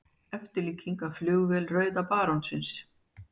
Eftirlíking af flugvél rauða barónsins.